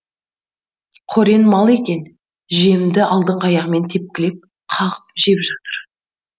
қорен мал екен жемді алдыңғы аяғымен тепкілеп қағып жеп жатыр